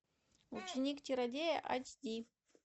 ученик чародея айч ди